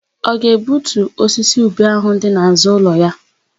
Ọ ga-egbutu osisi ube áhụ̀ dị n'àzụ́ ụlọ ya?